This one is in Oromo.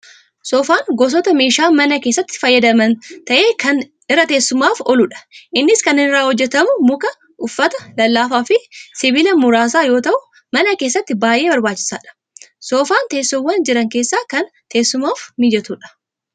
Soofan gosoota meeshaa mana keessatti itti fayyadaman ta'ee kan irra teessumaaf ooludha. innis kan inni irraa hojjetamu muka, uffata lallaafaafi sibiila muraasa yoo ta'u mana keessatti baayyee barbaachisaadha. Soofaapn teessowwaan jiran keessa kan teessumaaf mijatudha.